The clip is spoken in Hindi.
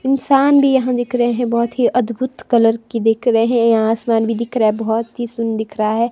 इंसान भी यहां दिख रहे हैं बहुत ही अद्भुत कलर की दिख रहे हैं यहां आसमान भी दिख रहा है बहुत ही सुन दिख रहा है।